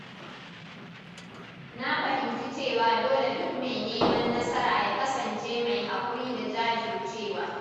Na fahimci cewa dole duk mai neman nasara ya kasance mai haƙuri da jajircewa.